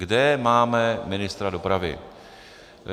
Kde máme ministra dopravy?